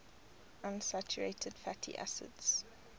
unsaturated fatty acids